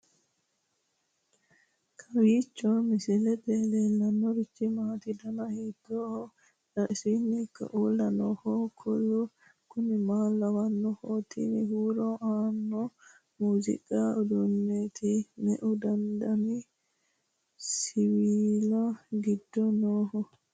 kowiicho misilete leellanorichi maati ? dana hiittooho ?abadhhenni ikko uulla noohu kuulu kuni maa lawannoho? tini huuro aanno muziiqu uduunneeti me'u dani siwiilla giddo nooho?